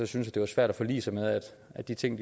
synes at det var svært at forlige sig med at de ting